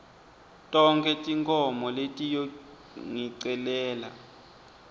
tonkhe tinkhomo letiyongicelela